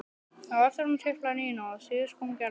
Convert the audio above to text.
Á eftir honum tiplaði Nína og síðust kom Gerður.